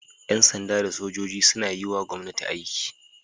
Yan sanda da sojoji suna yiwa gwomnati aiki